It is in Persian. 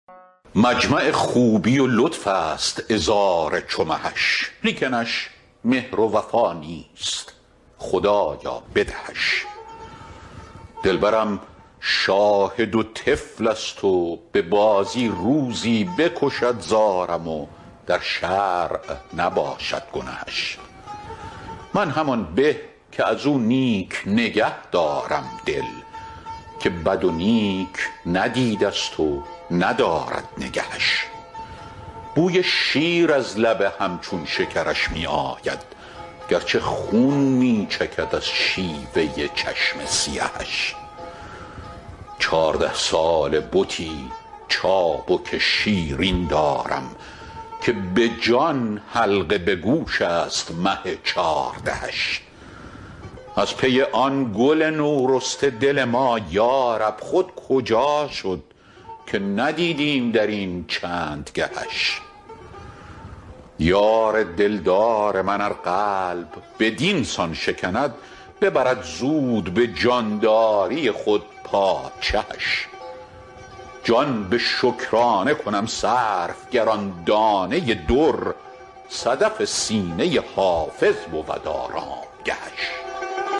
مجمع خوبی و لطف است عذار چو مهش لیکنش مهر و وفا نیست خدایا بدهش دلبرم شاهد و طفل است و به بازی روزی بکشد زارم و در شرع نباشد گنهش من همان به که از او نیک نگه دارم دل که بد و نیک ندیده ست و ندارد نگهش بوی شیر از لب همچون شکرش می آید گرچه خون می چکد از شیوه چشم سیهش چارده ساله بتی چابک شیرین دارم که به جان حلقه به گوش است مه چاردهش از پی آن گل نورسته دل ما یارب خود کجا شد که ندیدیم در این چند گهش یار دلدار من ار قلب بدین سان شکند ببرد زود به جانداری خود پادشهش جان به شکرانه کنم صرف گر آن دانه در صدف سینه حافظ بود آرامگهش